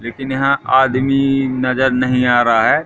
लेकिन यहां आदमी नजर नहीं आ रहा है।